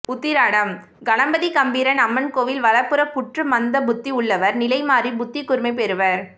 உத்திராடம் கணபதி கம்பீரன் அம்மன் கோயில் வலப்புறப் புற்று மந்தபுத்தி உள்ளவர் நிலைமாறி புத்திகூர்மை பெறுவர்